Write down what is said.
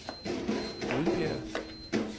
Rudbjerg